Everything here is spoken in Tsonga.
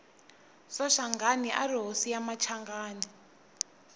soshangani ari hosi ya machanganani